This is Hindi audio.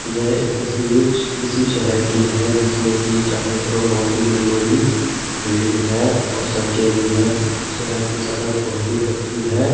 यह एक तस्वीर किसी शहर की है जिसमें की चारों तरफ बहोत ही बड़ी बड़ी बिल्डिंग्स है और सड़के भी है उसे यहां की सड़क बहुत ही कच्ची है।